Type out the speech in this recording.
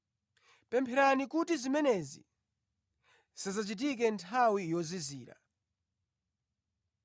Pempherani kuti zimenezi zisadzachitike nthawi yozizira,